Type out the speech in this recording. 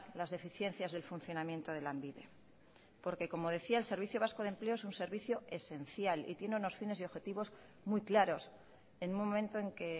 las deficiencias del funcionamiento de lanbide porque como decía el servicio vasco de empleo es un servicio esencial y tiene unos fines y objetivos muy claros en un momento en que